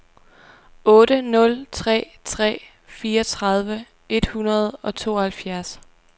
otte nul tre tre fireogtredive et hundrede og tooghalvfjerds